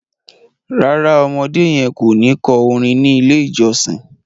ràrá ọmọdé yen kọ ní kò orin ní ilè ìjósìn.